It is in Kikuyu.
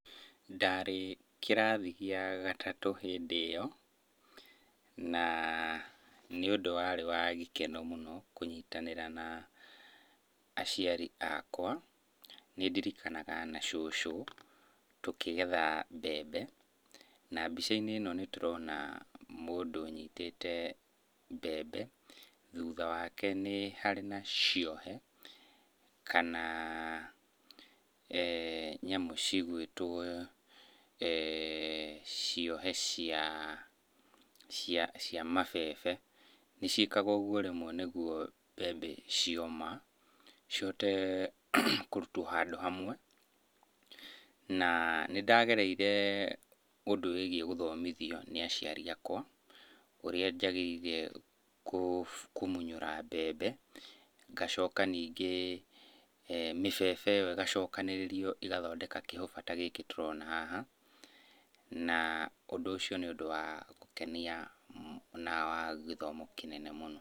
Ndarĩ kĩrathi gĩa gatatũ hĩndĩ ĩyo, na nĩ ũndũ warĩ wa gĩkeno mũno kũnyitanĩra na aciari akwa nĩndirikanaga, na cũcũ tũkĩgetha mbembe. Na mbica-inĩ ĩno nĩtũrona mũndũ ũnyitĩte mbembe, thutha wake nĩ harĩ na ciohe kana nyamũ cigũĩtwo ciohe cia cia mabebe. Nĩciĩkaga ũguo rĩmwe nĩguo mbembe cioma cihote kũrutwo handũ hamwe. Na nĩndagereire ũndũ wĩgiĩ gũthomithio nĩ aciari akwa, ũrĩa njagĩrĩire kũmunyũra mbembe, ngacoka ningĩ mĩbebe ĩyo ĩgacokanĩrĩrio ĩgathondeka kĩhũba ta gĩkĩ tũrona haha, na ũndũ ũcio nĩ ũndũ wa gũkenia na wa gĩthomo kĩnene mũno.